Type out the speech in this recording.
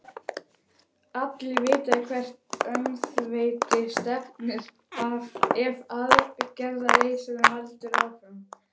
Allir vita í hvert öngþveiti stefnir ef aðgerðarleysinu heldur áfram.